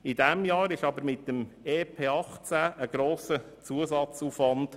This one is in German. In diesem Jahr entstand aber mit dem EP 2018 ein grosser Zusatzaufwand.